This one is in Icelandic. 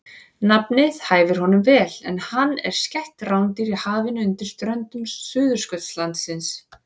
Nafnið hæfir honum vel en hann er skætt rándýr í hafinu undan ströndum Suðurskautslandsins.